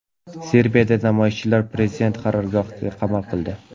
Serbiyada namoyishchilar prezident qarorgohini qamal qildi.